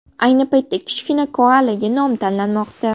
Ayni paytda kichkina koalaga nom tanlanmoqda.